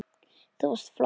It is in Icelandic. Þú varst flott